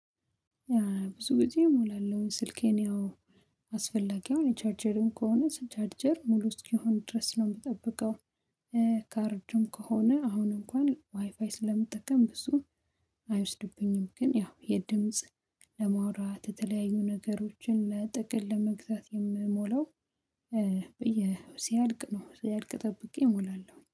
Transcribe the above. ብዙ ጊዜ እሞላለሁኝ ስልኬን ያው አስፈላጊ አሁን ቻርጀርም ከሆነ ስቻርጀር ሙሉ እስኪሆን ድረስ ነው የምጠብቀው። ካርድም ከሆነ አሁን እንኳን ዋይፋይ ስለምጠቀም ብዙም አይወስድብኝም። ግን ያው የድምጽ ለማውራት የተለያዩ ነገሮችን ለጥቅል ለመግዛት የምሞላው ሲያድቅ ነው ሲያድቅ ጠብቄ እሞላለሁ